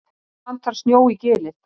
Enn vantar snjó í Gilið